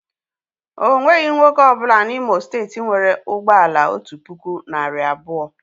O nweghị nwoke ọ bụla N'Imo steeti nwere ụgbọ ala otu puku, narị abụọ.